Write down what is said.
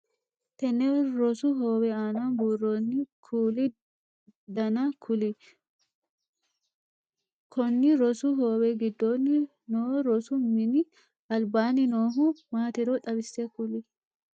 Tenne rosu hoowe aanna buuroonni kuuli danna kuli? Konni rosu hoowe gidoonni noo rosu minni albaanni noohu maatiro xawise kuli?